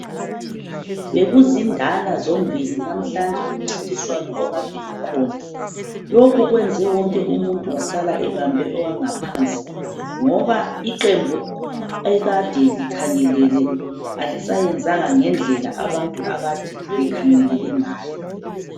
Bekuzindala zombili namhlanje kumncingiswano okade ukhona .Lokhu kwenza wonke umuntu wasala ebambe owangaphansi ngoba iqembu ekade likhangelele alisayenzanga ngendlela abantu akade bekhangelele ngayo .